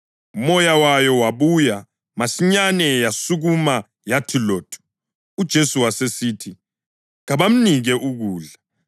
Umoya wayo wabuya, masinyane yasukuma yathi lothu! UJesu wasesithi kabamnike ukudla.